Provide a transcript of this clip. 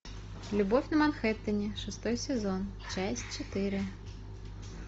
любовь на манхэттене шестой сезон часть четыре